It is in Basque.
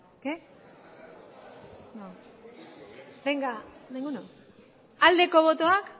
aldeko botoak